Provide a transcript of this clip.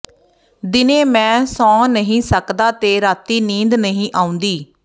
ਦਿਨੇ ਮੈਂ ਸੌਂ ਨਹੀਂ ਸਕਦਾ ਤੇ ਰਾਤੀਂ ਨੀਂਦ ਨਹੀਂ ਆਉਂਦੀ